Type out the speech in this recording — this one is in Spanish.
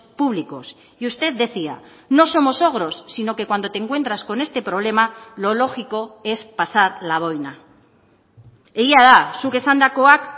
públicos y usted decía no somos ogros sino que cuando te encuentras con este problema lo lógico es pasar la boina egia da zuk esandakoak